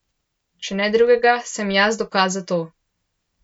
Če ne drugega, sem jaz dokaz za to.